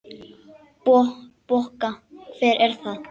Bokka, hvað er það?